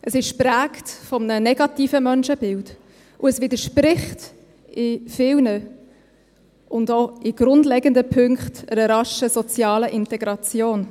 Es ist geprägt von einem negativen Menschenbild, und es widerspricht in vielen und auch in grundlegenden Punkten einer raschen sozialen Integration.